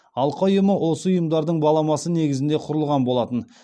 алқа ұйымы осы ұйымдардың баламасы негізінде құрылған болатын